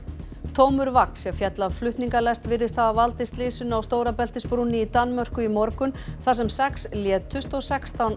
tómur vagn sem féll af flutningalest virðist hafa valdið slysinu á Stórabeltisbrúnni í Danmörku í morgun þar sem sex létust og sextán